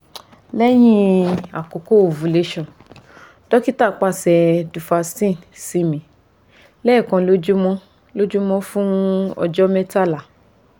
lẹhin akoko ovulation dokita paṣẹ duphaston si mi lẹẹkan lojumọ fun ọjọ mẹtala